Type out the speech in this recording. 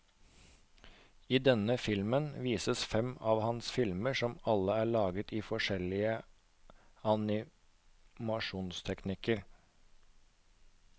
I denne timen vises fem av hans filmer som alle er laget i forskjellige animasjonsteknikker.